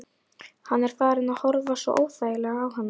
Hann er farinn að horfa svo óþægilega á hana.